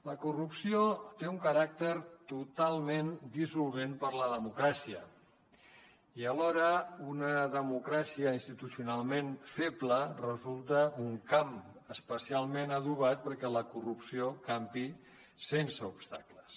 la corrupció té un caràcter totalment dissolvent per a la democràcia i alhora una democràcia institucionalment feble resulta un camp especialment adobat perquè la corrupció campi sense obstacles